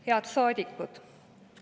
Head saadikud!